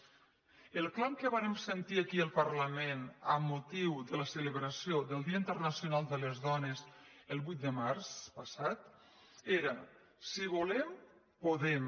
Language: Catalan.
el clam que vàrem sentir aquí al parlament amb motiu de la celebració del dia internacional de les dones el vuit de març passat era si volem podem